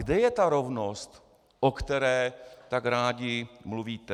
Kde je ta rovnost, o které tak rádi mluvíte?